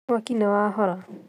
Mwaki nĩ wahora